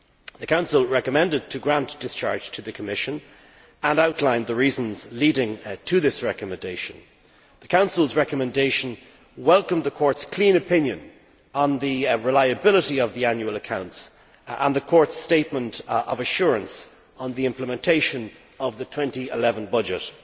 The Council recommended granting discharge to the Commission and outlined the reasons leading to this recommendation. The Council's recommendation welcomes the Court's clean opinion on the reliability of the annual accounts and the Court's statement of assurance on the implementation of the 2011 budget.